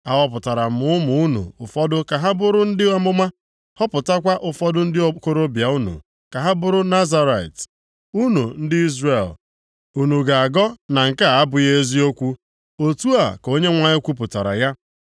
“Ahọpụtara m ụmụ unu ụfọdụ ka ha bụrụ ndị amụma, họpụtakwa ụfọdụ ndị okorobịa unu ka ha bụrụ Nazirait. Unu ndị Izrel, unu ga-agọ na nke a abụghị eziokwu?” Otu a ka Onyenwe anyị kwupụtara ya.